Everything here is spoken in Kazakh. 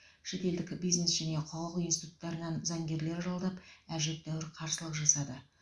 шетелдік бизнес және құқық институттарынан заңгерлер жалдап әжептәуір қарсылық жасады